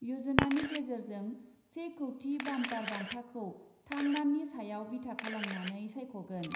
यजनानि गेजेरजों से कौटि बाम्पार बान्थाखौ थाम दाननि सायाव बिथा खालामनानै सायख'गोन ।